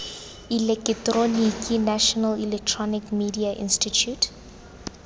eleketeroniki national electronic media institute